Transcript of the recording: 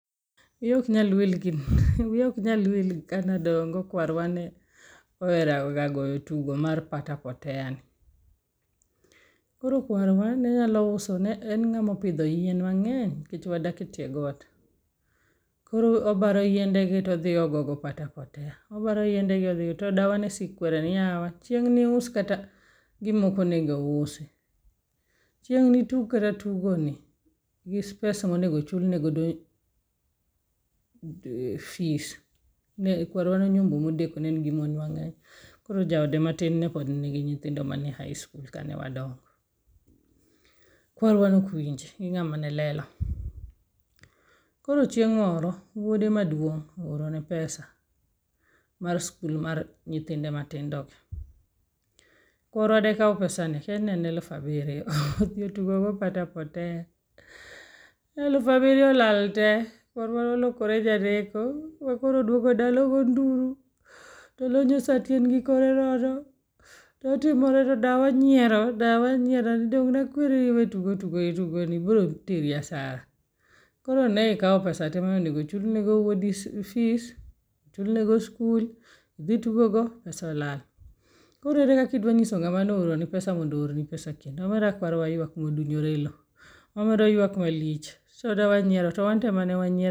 Wiya ok nyal wiya ok nyal wil gi kane adongo kwarwa ne ohero rawga goyo tugo mar pata potea ni. Koro kwar wa ne nyalo uso ne en ng'ama opidho yien mang'eny nikech wadak e tie got. Koro obaro yiende gi to odhi ogo go pata potea. Obaro yiende gi odhi go to dawa ne sik kwere ni yawa chieng' ni wus kata gima ok onego usi. Chieng' ni tug kata tugo ni pes monego chulnegodo fees. Ne kwar wa ne onyombo modeko ne en gi mon mang'eny. Koro ja ode matin ne pod ni gi nyithindo mani e high school kane ne wadongo. Kwar wa ne ok winji gi ng'ama ne lelo. Koro chieng' moro wyode maduong' o oro ne pesa mar [cvs]school mar nyithinde matindo. Kwar wa de kaw pesani, kia ne en alufu abiryo odhi otugo go pata [potea, Elufu abiryo olal te. Kwar wa ne olokore janeko ma koro odogo dala ogo nduro to olonyo sati en gi kore nono to otimore to dawa nyiero dawa nyiero ni dong' ne akweri ni iew tugo tugo ni biro teri asara. Koro ne ikaw pesa te mane onego chulni go wuodi fees, ochul ne go school, idhi itugo go pesa olal. Koro ere kaka idwa nyiso ngama ne o oroni pesa mondo o or ni pesa kendo. Omera kwar wa ywak ma odunyore e elo. Omera oywak malich. Wanyiero to wanto ema ne wanyiero.